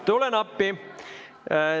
Tulen appi.